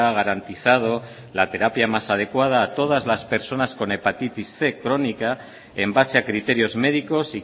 garantizado la terapia más adecuada a todas las personas con hepatitis cien crónica en base a criterios médicos